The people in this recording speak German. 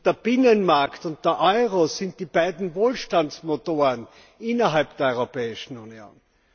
Der Binnenmarkt und der Euro sind die beiden Wohlstandsmotoren innerhalb der Europäischen Union.